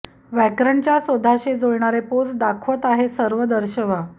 व्याकरण च्या शोधाशी जुळणारे पोस्ट दाखवत आहे सर्व दर्शवा